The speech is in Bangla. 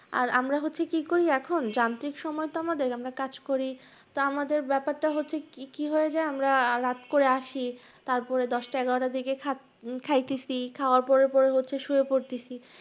আরা আমরা হচ্ছে কি করি এখন, যান্ত্রিক সময় তো আমাদের আমরা কাজ করি তা আমাদের ব্যাপারটা হচ্ছে কি হয়ে যায়, আমরা রাত করে আসি তারপরে দশটা এগারটার দিকে খা~খাইতেছি, খাওয়ার পরে পরে হচ্ছে শুয়ে পড়তেছি।